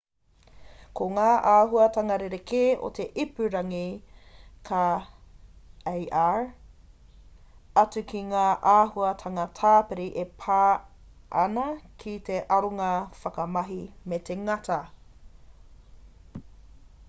ko ngā āhuahanga rerekē o te ipurangi ka ar atu ki ngā āhuatanga tāpiri e pā an ki te aronga whakamahi me te ngata